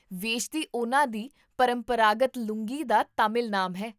ਵੇਸ਼ਤੀ ਉਹਨਾਂ ਦੀ ਪਰੰਪਰਾਗਤ ਲੂੰਗੀ ਦਾ ਤਾਮਿਲ ਨਾਮ ਹੈ